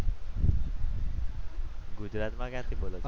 ગુજરાતમાં ક્યાંથી બોલો છો તમે?